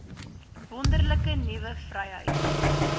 wonderlike nuwe vryheid